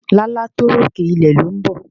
Lálá tó rókè, ilẹ̀ ló ń bọ̀.